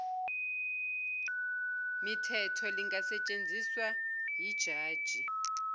mithetho lingasetshenziswa yijaji